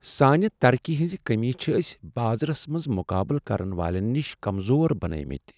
سانہِ ترقی ہنٛز کٔمی چھ ٲسی بازرس منٛز مقابلہٕ کرن والین نش کمزور بناوۍمٕتۍ۔